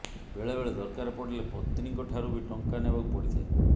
ବେଳେ ବେଳେ ଦରକାର ପଡିଲେ ପତ୍ନୀଙ୍କଠାରୁ ବି ଟଙ୍କା ନେବାକୁ ପଡିଥାଏ